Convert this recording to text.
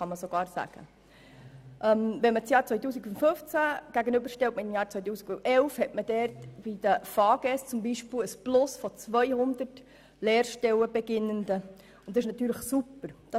Wenn man das Jahr 2015 dem Jahr 2011 gegenüberstellt, sieht man zum Beispiel, dass die Anzahl Lehranfängerinnen und -anfänger um 200 zugenommen hat.